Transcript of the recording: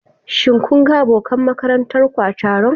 Shin kun ga abokan makarantar ku a taron?